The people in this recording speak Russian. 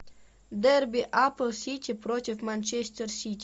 дерби апл сити против манчестер сити